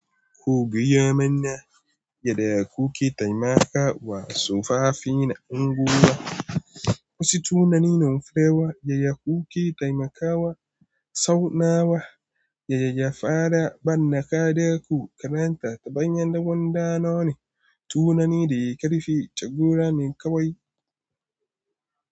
Ko giya manya, gyada ya kuke taimakawa wa tsofaffi na unguwa. Wasu tunanin firewa ya ya kuke taimakawa tsaunawa? Yaya gyafara ban kadaku karanta ta bayan dawon ɗanoni. Tunani da ya karfi, tagora ne kawai.